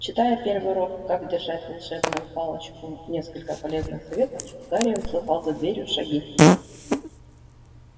читая первый урок как держать волшебную палочку несколько полезных советов гарри услыхал за дверью шаги